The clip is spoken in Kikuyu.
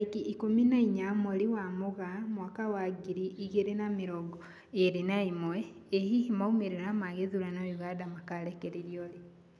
Tarĩki ikũmi na inya mweri wa Mũgaa mwaka wa ngiri igĩri na mĩrongo ĩri na ĩmwe, ĩ hihi maumĩrĩra ma gĩthurano Uganda makarekererio rĩ?